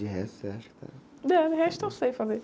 De resto, você acha que tá... É, de resto, eu sei fazer.